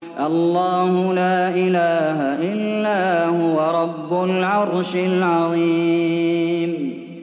اللَّهُ لَا إِلَٰهَ إِلَّا هُوَ رَبُّ الْعَرْشِ الْعَظِيمِ ۩